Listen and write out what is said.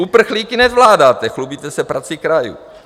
Uprchlíky nezvládáte, chlubíte se prací krajů.